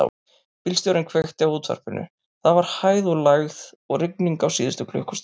Bílstjórinn kveikti á útvarpinu: það var hæð og lægð og rigning á síðustu klukkustund.